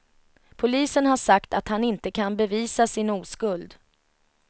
Polisen har sagt att han inte kan bevisa sin oskuld.